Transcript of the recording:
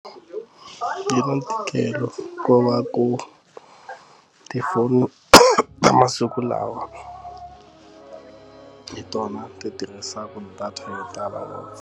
Yi na ntikelo ku va ku tifoni ta masiku lawa hi tona ti tirhisaka data yo tala.